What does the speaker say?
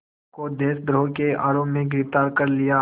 को देशद्रोह के आरोप में गिरफ़्तार कर लिया